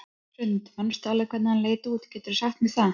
Hrund: Manstu alveg hvernig hann leit út, geturðu sagt mér það?